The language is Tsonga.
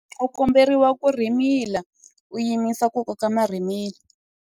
U komberiwa ku rhimila u yima ku koka marhimila.